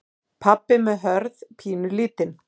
Pabbi með Hörð pínulítinn.